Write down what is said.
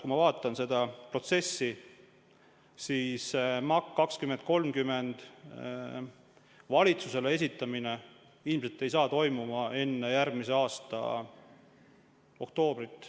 Kui ma vaatan seda protsessi, siis MAK 2020–2030 valitsusele esitamine ilmselt ei saa toimuma enne järgmise aasta oktoobrit.